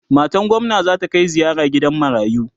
matan gwamna zata Kai ziyara gidan marayu